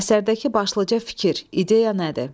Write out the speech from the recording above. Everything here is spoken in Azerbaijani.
Əsərdəki başlıca fikir, ideya nədir?